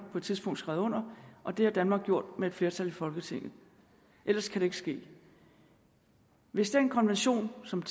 på et tidspunkt skrevet under og det har danmark gjort med et flertal i folketinget ellers kan det ikke ske hvis den konvention som